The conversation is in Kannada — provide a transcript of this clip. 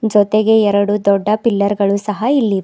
ಜೊತೆಗೆ ಎರಡು ದೊಡ್ಡ ಪಿಲ್ಲರ್ ಗಳು ಸಹ ಇಲ್ಲಿವೆ.